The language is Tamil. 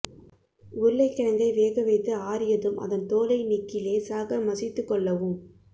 உருளைக்கிழங்கை வேக வைத்து ஆறியதும் அதன் தோலை நீக்கி லேசாக மசித்துக் கொள்ளவும்